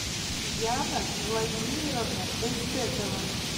яна владимировна эльтекова